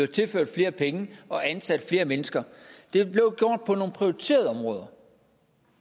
tilført flere penge og ansat flere mennesker det blev gjort på nogle prioriterede områder